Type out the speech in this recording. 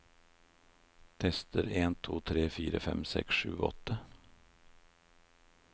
Tester en to tre fire fem seks sju åtte